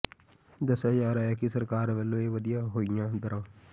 ਦੱਸਿਆ ਜਾ ਰਿਹਾ ਹੈ ਕਿ ਸਰਕਾਰ ਵੱਲੋਂ ਇਹ ਵਧੀਆਂ ਹੋਈਆਂ ਦਰਾਂ